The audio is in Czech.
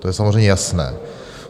To je samozřejmě jasné.